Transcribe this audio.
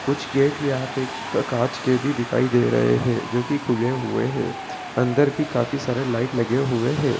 कुछ गेट यहां पे का-कांच के भी दिखाई दे रहे है जोकि खुले हुए है अंदर भी काफी सारे लाइट लगे हुए है----